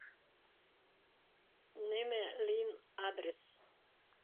нина лин адрес